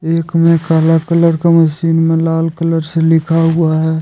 एक में काला कलर का मशीन में लाल कलर से लिखा हुआ है।